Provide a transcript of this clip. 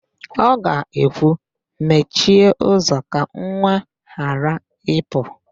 Ọ ga-ekwu, "mechie ụzọ ka nwa a ghara ịpụ"!